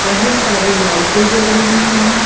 बहुत सारी लाइटे जल रही हैं।